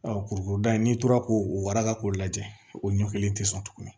kurukuru da in n'i tora k'o waraka k'o lajɛ o ɲɔ kelen tɛ sɔn tuguni